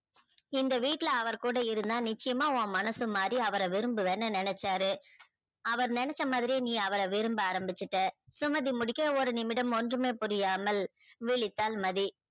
இந்த வீட்ல அவர் கூட இருந்தா நிச்சயமாஓ மனசு மாரி அவர விரும்புவனு அவர் நினச்சாற அவர் நெனச்சா மாதிரியே நீ அவர விரும்ப ஆரமிச்சிட்ட சுமதி முழிக்க ஒன்றுமே புரியாமல் விளித்தால் மதி